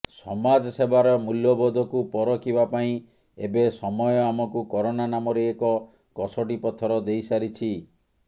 ସମାଜସେବାର ମୂଲ୍ୟବୋଧକୁ ପରଖିବା ପାଇଁ ଏବେ ସମୟ ଆମକୁ କରୋନା ନାମରେ ଏକ କଷଟି ପଥର ଦେଇସାରିଛି